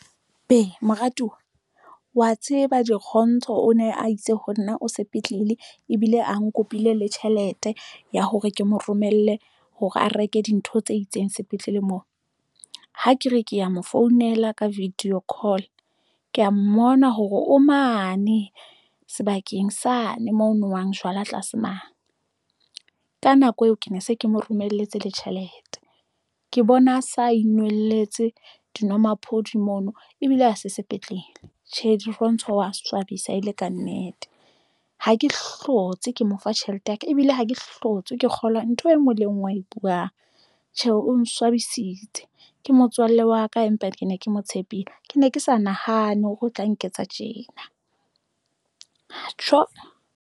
Be moratuwa wa tseba Dirontsho o ne a itse ho nna o sepetlele ebile a nkopile le tjhelete ya hore ke mo romelle hore a reke dintho tse itseng sepetlele moo ha ke re kea mo founela ka video call ke ya mmona hore o mane sebakeng sane, moo nowang jwala tlase mane ka nako eo ke ne se ke mo romelletse le tjhelete ke bona a sa inehelletse dinwamaphodi mono ebile ha se sepetlele. Tjhe, Dirontsho wa swabisa ele ka nnete. Ha ke hlotse, ke mo fa tjhelete ya ka ebile ha ke hlotswe ke moo kgolwa ntho enngwe le enngwe a e buwang, Tjhe o ntso thabisitse ke motswalle wa ka empa ke ne ke mo tshepile ke ne ke sa nahane hore o tla nketsa tjena tjooo!